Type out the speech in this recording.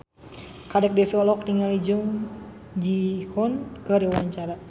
Kadek Devi olohok ningali Jung Ji Hoon keur diwawancara